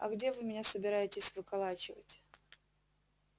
а где вы меня собираетесь выколачивать